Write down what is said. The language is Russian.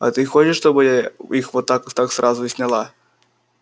а ты хочешь чтобы я их вот так сразу и сняла